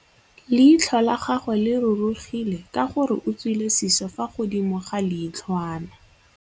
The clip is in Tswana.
Leitlhô la gagwe le rurugile ka gore o tswile sisô fa godimo ga leitlhwana.